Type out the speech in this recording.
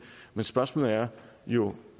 men spørgsmålet er jo